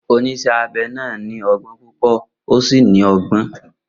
Oníṣẹ́ abẹ náà ní ọgbọ́n púpọ̀ ó sì ní ọgbọ́n.